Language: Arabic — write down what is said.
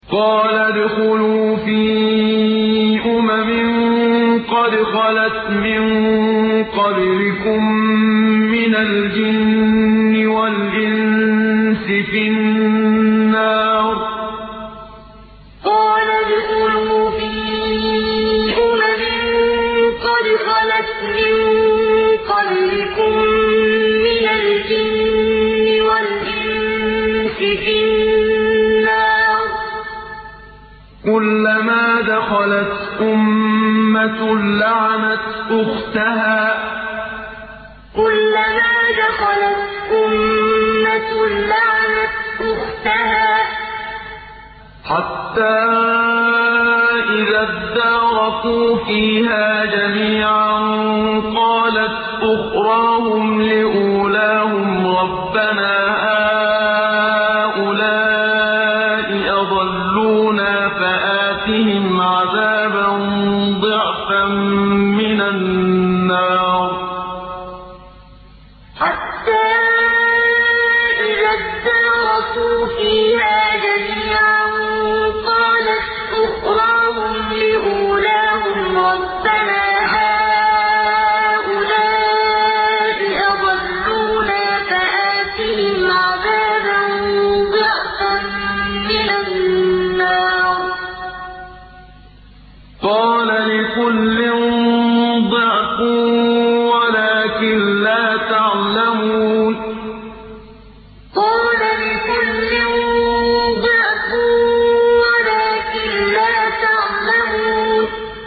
قَالَ ادْخُلُوا فِي أُمَمٍ قَدْ خَلَتْ مِن قَبْلِكُم مِّنَ الْجِنِّ وَالْإِنسِ فِي النَّارِ ۖ كُلَّمَا دَخَلَتْ أُمَّةٌ لَّعَنَتْ أُخْتَهَا ۖ حَتَّىٰ إِذَا ادَّارَكُوا فِيهَا جَمِيعًا قَالَتْ أُخْرَاهُمْ لِأُولَاهُمْ رَبَّنَا هَٰؤُلَاءِ أَضَلُّونَا فَآتِهِمْ عَذَابًا ضِعْفًا مِّنَ النَّارِ ۖ قَالَ لِكُلٍّ ضِعْفٌ وَلَٰكِن لَّا تَعْلَمُونَ قَالَ ادْخُلُوا فِي أُمَمٍ قَدْ خَلَتْ مِن قَبْلِكُم مِّنَ الْجِنِّ وَالْإِنسِ فِي النَّارِ ۖ كُلَّمَا دَخَلَتْ أُمَّةٌ لَّعَنَتْ أُخْتَهَا ۖ حَتَّىٰ إِذَا ادَّارَكُوا فِيهَا جَمِيعًا قَالَتْ أُخْرَاهُمْ لِأُولَاهُمْ رَبَّنَا هَٰؤُلَاءِ أَضَلُّونَا فَآتِهِمْ عَذَابًا ضِعْفًا مِّنَ النَّارِ ۖ قَالَ لِكُلٍّ ضِعْفٌ وَلَٰكِن لَّا تَعْلَمُونَ